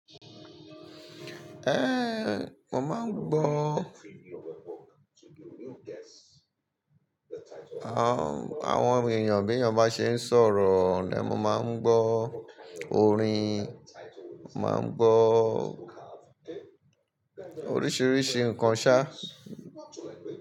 Ẹ̀ńn, mo máa ń gbọ́ àwọn èèyàn bí èèyàn bá ṣe ń sọ̀rọ̀ lẹ́ẹ̀, ma máa ń gbọ́ orin, máa ń gbọ́ oríṣiríṣi nǹkan ṣá.